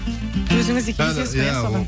өзіңіз де келісесіз ғой соған